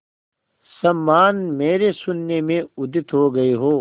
समान मेरे शून्य में उदित हो गई हो